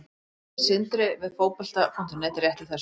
Þetta staðfesti Sindri við Fótbolta.net rétt í þessu.